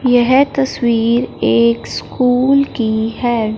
यह तस्वीर एक स्कूल की है।